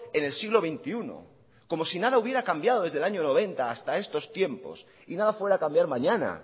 en el siglo veintiuno como si nada hubiera cambiado desde el año noventa hasta estos tiempos y nada fuera a cambiar mañana